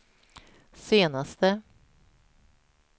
senaste